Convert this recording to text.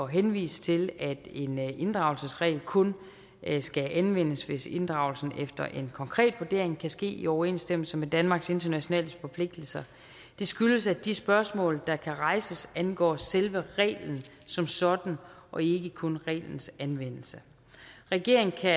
henvise til at en inddragelsesregel kun skal anvendes hvis inddragelsen efter en konkret vurdering kan ske i overensstemmelse med danmarks internationale forpligtelser det skyldes at de spørgsmål der kan rejses angår selve reglen som sådan og ikke kun reglens anvendelse regeringen kan